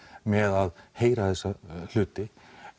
með að heyra þessa hluti